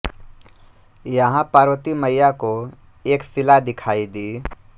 यहां पार्वती मैया को एक सिला दिखाई दी